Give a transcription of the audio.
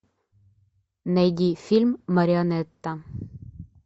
найди фильм марионетта